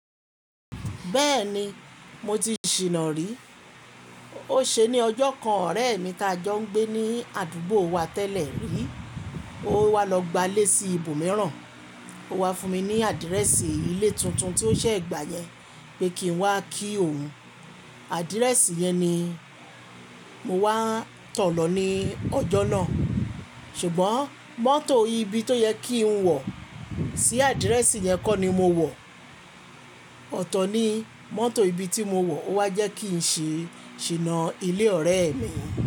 Bẹ́ẹ̀ni mo ti ṣìná rí. Ó ṣe ni ọjọ́ kan ọ̀rẹ́ mi ta jọ ń gbé ní àdúgbò wa tẹ́lẹ̀ rí. Ó wá lọ gbálé sí ibòmíràn. Ó wá fún mi ní àdírẹ́sì ilé tuntun tí ó ṣẹ́ gbà yẹn pé kí n wá kí òun. Àdírẹ́sì yẹn ni mo wá tọ lọ ní ọjọ́ náà. Ṣùgbọ́n mọ́tò ibi tó yẹ kí n wọ̀ sí àdírẹ́sì yẹn kọ́ ni mo wọ̀. Ọ̀tọ̀ ni mọ́tò ibi tí mo wọ̀ wá jẹ́ kí n ṣe ṣìná ilé ọ̀rẹ́ mi.